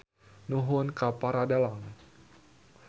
Nuhun ka para dalang.